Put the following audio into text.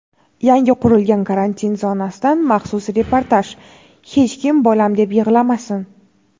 Yangi qurilgan karantin zonasidan maxsus reportaj: "hech kim bolam deb yig‘lamasin!".